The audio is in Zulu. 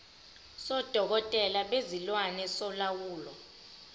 sodokotela bezilwane solawulo